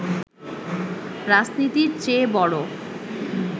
রাজনীতির চেয়ে বড়